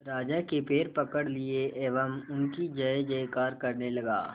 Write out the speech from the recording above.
राजा के पैर पकड़ लिए एवं उनकी जय जयकार करने लगा